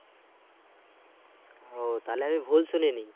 ও তাহলে আমি ভুল শুনিনি।